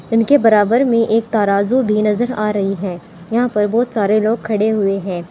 इनके बराबर में एक तराजू भी नजर आ रही है यहां पर बहुत सारे लोग खड़े हुए हैं।